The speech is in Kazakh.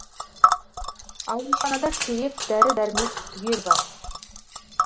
ауруханада керек дәрі дәрмек түгелі бар